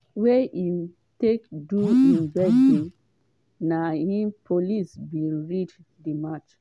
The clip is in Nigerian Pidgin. wey im take do im birthday na im police bin raid for march.